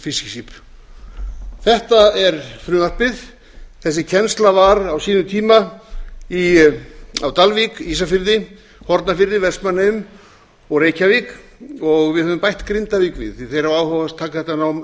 fiskiskip þetta er frumvarpið þessi kennsla var á sínum tíma á dalvík ísafirði hornafirði vestmannaeyjum og reykjavík og við höfum bætt grindavík við því þeir hafa áhuga á að taka þetta nám upp og